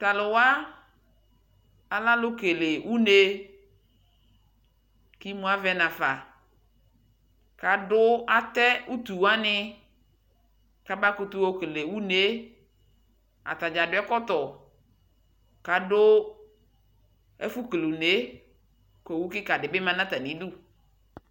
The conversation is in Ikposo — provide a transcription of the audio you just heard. Taluwa alɛalu kele unee kimuavɛ nafa kaduatɛɛ utuwanii kabakutu yokele uunee ataɖʒa aɖu ɛkɔtɔ Kadu ɛfu kele uunee ku owubedi du atanidu